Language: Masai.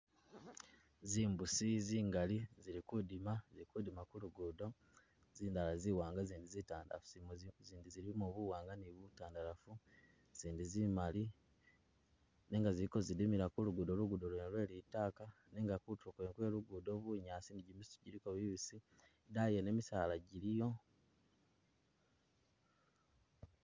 Zimbusi zingali zili kudima zili kudima kulugudo zindala zi'waanga i'zindi zitandalafu, zindi zilimo buwaanga ni butandalafu, zindi zimali, nenga ziliko zidimila kulugudo, lugudo wene lwe litaka nenga kutuulo kwene kwe lugudo bunyaasi buliko bubisi, i'daayi wene misaala giliyo